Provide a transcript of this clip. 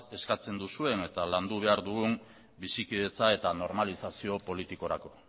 eskatu duzuena eta landu behar dugun bizikidetza eta normalizazio politikorako